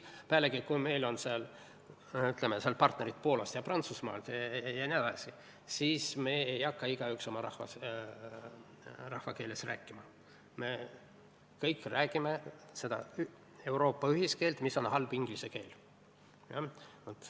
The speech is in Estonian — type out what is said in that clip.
Kui meil on, ütleme, partnerid Poolast ja Prantsusmaalt jne, siis me ei hakka igaüks oma rahva keeles rääkima, me kõik räägime seda Euroopa ühiskeelt, mis on halb inglise keel.